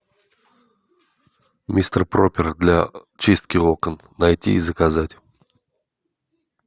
мистер пропер для чистки окон найти и заказать